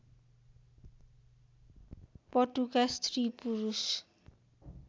पटुका स्त्री पुरुष